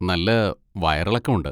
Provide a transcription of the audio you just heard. നല്ല വയറിളക്കം ഉണ്ട്.